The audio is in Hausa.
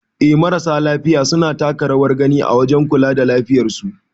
Eh marasa lafiya suna taka rawar gani a wajen kula da lafiyar su.